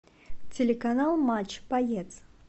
телеканал матч боец